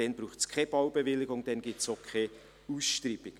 dann braucht es keine Baubewilligung und gibt es auch keine Ausschreibung.